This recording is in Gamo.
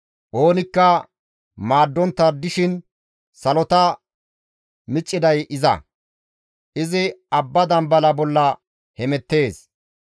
Oonikka maaddontta dishin salota micciday iza; izi abba dambala bolla hemettees.